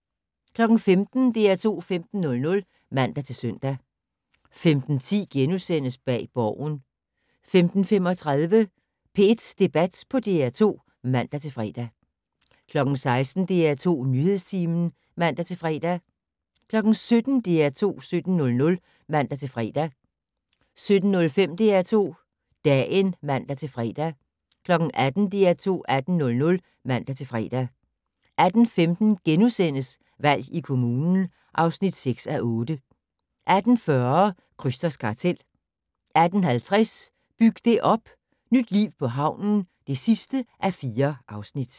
15:00: DR2 15:00 (man-søn) 15:10: Bag Borgen * 15:35: P1 Debat på DR2 (man-fre) 16:00: DR2 Nyhedstimen (man-fre) 17:00: DR2 17:00 (man-fre) 17:05: DR2 Dagen (man-fre) 18:00: DR2 18:00 (man-fre) 18:15: Valg i kommunen (6:8)* 18:40: Krysters kartel 18:50: Byg det op - Nyt liv på havnen (4:4)